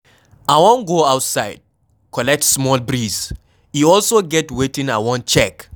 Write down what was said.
I wan go outside collect small breeze, e also get wetin I wan check